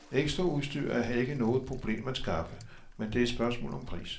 Ekstraudstyr er her ikke noget problem at skaffe, men det er et spørgsmål om pris.